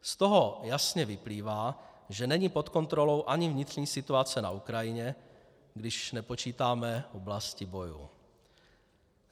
Z toho jasně vyplývá, že není pod kontrolou ani vnitřní situace na Ukrajině, když nepočítáme oblasti bojů.